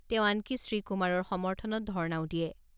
তেওঁ আনকি শ্ৰীকুমাৰৰ সমৰ্থনত ধৰ্ণাও দিয়ে।